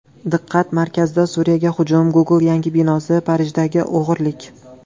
Diqqat markazida: Suriyaga hujum, Google yangi binosi, Parijdagi o‘g‘irlik.